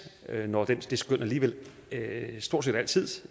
når det skøn alligevel stort set altid